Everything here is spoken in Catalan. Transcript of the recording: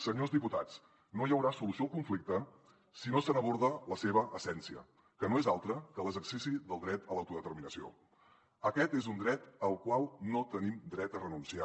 senyors diputats no hi haurà solució al conflicte si no s’aborda la seva essència que no és altra que l’exercici del dret a l’autodeterminació aquest és un dret al qual no tenim dret a renunciar